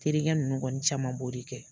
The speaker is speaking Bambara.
Terikɛ nunnu kɔnni caman b'o de kɛ.